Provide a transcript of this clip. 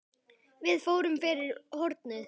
Við fórum fyrir hornið.